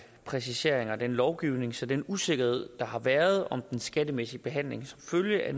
præciseringer af den lovgivning så den usikkerhed der har været om den skattemæssige behandling som følge af